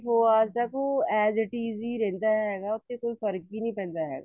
four hours ਤੱਕ ਉਹ asities ਹੀ ਰਹਿੰਦਾ ਹੈਗਾ ਕੋਈ ਫਰਕ ਹੀ ਨੀ ਪੈਂਦਾ ਹੈਗਾ